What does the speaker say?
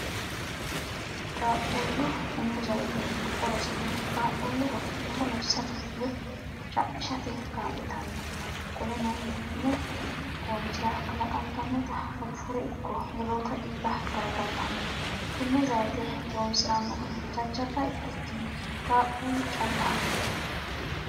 Qaaqulu umu zayiite horoseeno qaaquleho umo loosaate woy shaqiishate kaliitano. qoleeno umu qonchiira kalaqaantaata forofore iko woloota xibba gargartaano. tene zayiite hornsiraanohu jajaaba ikikini qaaqule calaaho.